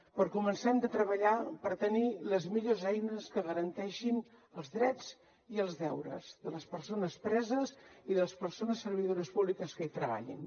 per començar hem de treballar per tenir les millors eines que garanteixin els drets i els deures de les persones preses i de les persones servidores públiques que hi treballin